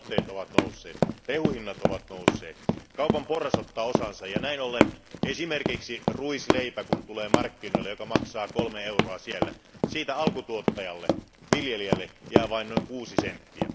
Lannoitteiden ja rehun hinnat ovat nousseet. Kaupan porras ottaa osansa, ja näin ollen kun esimerkiksi ruisleipä tulee markkinoille, se maksaa kolme euroa, ja siitä alkutuottajalle, viljelijälle, jää vain noin kuusi senttiä.